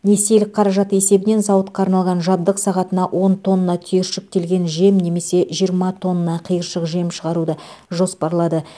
несиелік қаражаты есебінен зауытқа арналған жабдық сағатына он тонна түйіршіктелген жем немесе жиырма тонна қиыршық жем шығаруды жоспарлады